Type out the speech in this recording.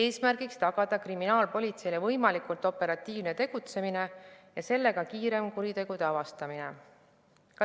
Eesmärk on tagada kriminaalpolitsei võimalikult operatiivne tegutsemine ja kiirem kuritegude avastamine.